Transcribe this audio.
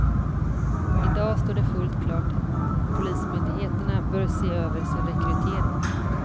I dag står det fullt klart att polismyndigheterna bör se över sin rekrytering.